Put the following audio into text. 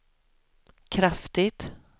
kraftigt